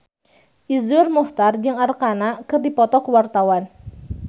Iszur Muchtar jeung Arkarna keur dipoto ku wartawan